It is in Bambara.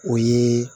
O ye